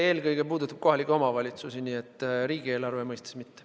Eelkõige puudutab see kohalikke omavalitsusi, nii et riigieelarve mõistes mitte.